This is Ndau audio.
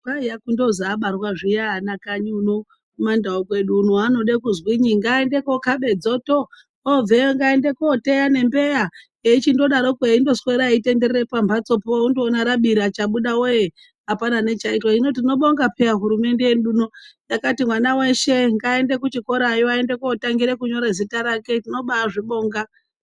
Kwaiya kundozwi abarwa zviya ana kanyi uno, kumandau kwedu uno, vanode kuzwinyi, ngaaende kookhaba dzoto, ngaaende kooteya nembeya, eindodaro, eiswera eindotenderera pamphatsopo, unondoona rabira, chabuda wee apana nechaitwa, hino tinobonga pheya hurumende yedu ino, yakati mwana weshe ngaaende kuchikorayo, aende kootangira kunyora zita rake, tinobaazvibonga.